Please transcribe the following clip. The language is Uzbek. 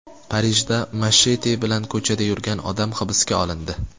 Parijda machete bilan ko‘chada yurgan odam hibsga olindi.